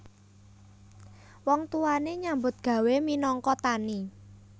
Wong tuwane nyambut gawé minangka tani